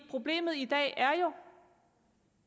problemet i dag er jo